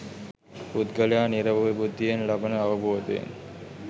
පුද්ගලයා නිරවුල් බුද්ධියෙන් ලබන අවබෝධයෙන්